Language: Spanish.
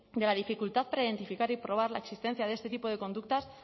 de la dificultad para identificar y probar la existencia de este tipo de conductas